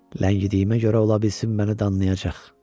Ləngidiyimə görə olmasın məni danlayacaq.